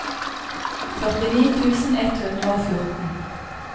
førtini tusen ett hundre og fjorten